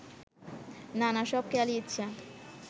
নানা সব খেয়ালি ইচ্ছা